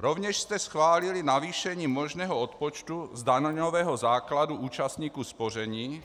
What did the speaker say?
Rovněž jste schválili navýšení možného odpočtu z daňového základu účastníků spoření